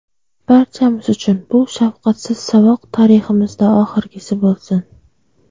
Barchamiz uchun bu shafqatsiz saboq tariximizda oxirgisi bo‘lsin.